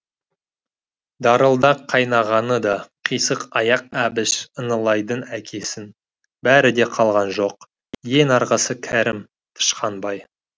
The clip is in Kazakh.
дарылдақ қайнағаны да қисық аяқ әбіш ынылайдың әкесін бәрі де қалған жоқ ең арғысы кәрім тышқанбай